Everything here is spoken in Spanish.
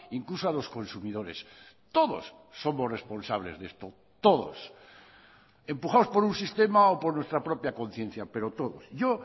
incluso a los consumidores todos somos responsables de esto todos empujados por un sistema o por nuestra propia conciencia pero todos yo